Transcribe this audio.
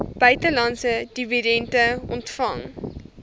buitelandse dividende ontvang